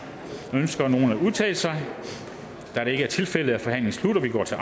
ønsker nogen at udtale sig da det ikke er tilfældet er forhandlingen sluttet og vi går til